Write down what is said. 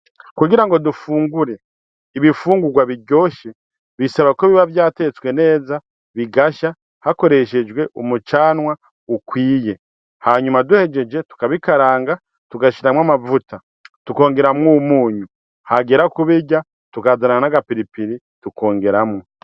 Kugira ngo dufungure ibifungurwa biryoshe, bisaba ko biba vyatetswe neza bigasha hakoreshejwe umucanwa ukwiye, hanyuma duhejeje tukabikaranga tugashiramwo amavuta tukongeramwo umunyu, hagera kubirya tukazana n'agapiripiri tukongeramwo.